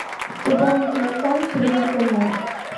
пополнить телефон через интернет